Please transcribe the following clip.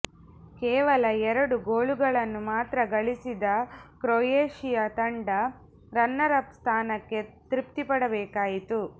ಕೇವಲ ಎರಡು ಗೋಲುಗಳನ್ನು ಮಾತ್ರ ಗಳಿಸಿದ ಕ್ರೊಯೇಷಿಯಾ ತಂಡ ರನ್ನರ್ ಅಪ್ ಸ್ಥಾನಕ್ಕೆ ತೃಪ್ತಿಪಡಬೇಕಾಯಿತು